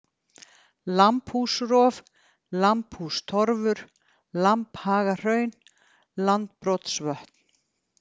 Lambhúsrof, Lambhústorfur, Lambhagahraun, Landbrotsvötn